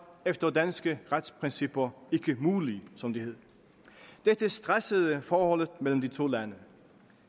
efter danske retsprincipper ikke muligt som det hed dette stressede forholdet mellem de to lande